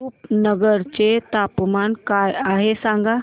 रुपनगर चे तापमान काय आहे सांगा